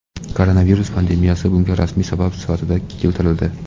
Koronavirus pandemiyasi bunga rasmiy sabab sifatida keltirildi.